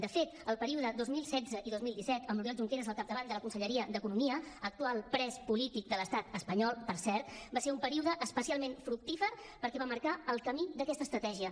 de fet el període dos mil setze i dos mil disset amb l’oriol junqueras al capdavant de la conselleria d’economia actual pres polític de l’estat espanyol per cert va ser un període especialment fructífer perquè va marcar el camí d’aquesta estratègia